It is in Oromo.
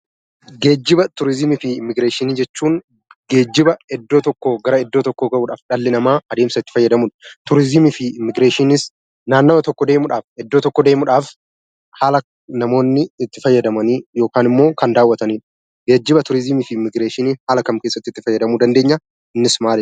Geejjiba, turizimii fi immigireeshinii jechuun ,geejjiba iddoo tokkoo bakka biraa ga'uuf dhalli namaa adeemsa itti fayyadamuu dha. Turizimii fi immigireeshiniinis naannawwaa tokkoo deemuudhaaf, iddoo tokko deemuudhaaf haala namoonni itti fayyadamanni itti tajaajilamanii dha. Geejjiba, turizimii fi immigireeshiniin haala kam keessatti itti fayyadamuu dandeenya? Innis maaliidha?